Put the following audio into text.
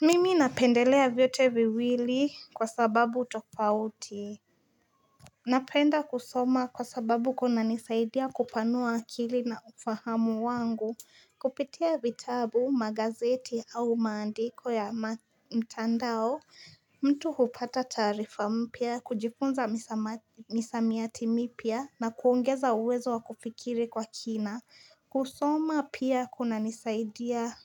Mimi napendelea vyote viwili kwa sababu tofauti Napenda kusoma kwa sababu kunanisaidia kupanua akili na ufahamu wangu. Kupitia vitabu, magazeti au maandiko ya mtandao mtu hupata tarifa mpya, kujifunza misamiati mipia na kuongeza uwezo wa kufikiri kwa kina. Kusoma pia kunanisaidia